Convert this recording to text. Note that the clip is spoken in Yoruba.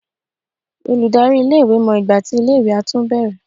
Olùdarí iléèwé mọ ìgbà tí iléèwé á tún bẹ̀rẹ̀